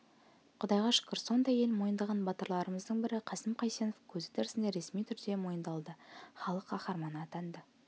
құдайға шүкір сондай ел мойындаған батырларымыздың бірі қасым қайсенов көзі тірісінде ресми түрде мойындалды халық қаһарманы атанды